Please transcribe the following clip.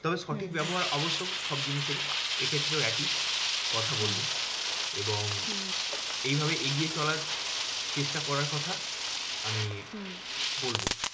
তবে সঠিক ব্যবহার আবশ্যক সব জিনিসে এ। এক্ষেত্রেও একই কথা বলবো এবং এইভাবে এগিয়ে চলার চেষ্টা করার কথা আমি বলবো।